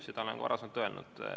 Seda olen ma ka varem öelnud.